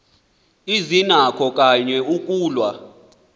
azinakho kanye ukulwa